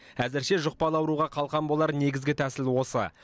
әзірше жұқпалы ауруға қалқан болар негізгі тәсіл осы